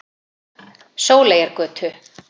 Sóleyjargötu